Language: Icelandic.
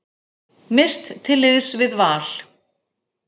Mist til liðs við Val